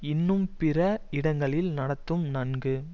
இன்னும் பிற இடங்களில் நடத்தும் நன்கு